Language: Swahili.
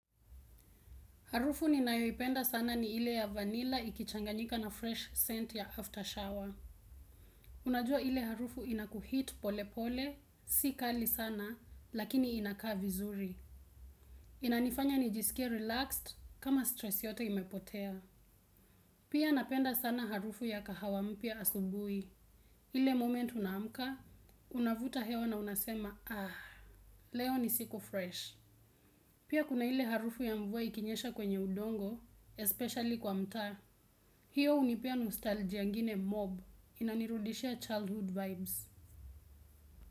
Harufu ni nayoipenda sana ni ile ya vanilla ikichanganyika na fresh scent ya after shower. Unajua ile harufu inakuhit pole pole, si kali sana, lakini inakaa vizuri. Inanifanya nijisikie relaxed kama stress yote imepotea. Pia napenda sana harufu ya kahawampya asubuhi. Ile moment unaamka, unavuta hewa na unasema, ah, leo ni siku fresh. Pia kuna ile harufu ya mvua ikinyesha kwenye udongo, especially kwa mtaa. Hiyo hunipea nostalgia ingine mob inanirudishia childhood vibes.